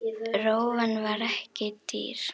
Rófan var ekki dýr.